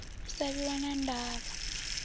u sa vhiwa na ndavha